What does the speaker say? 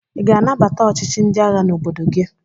Ị ga-anabata ọchịchị ndị agha n'obodo gị?